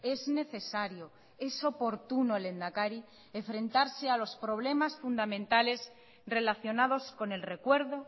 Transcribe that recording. es necesario es oportuno lehendakari enfrentarse a los problemas fundamentales relacionados con el recuerdo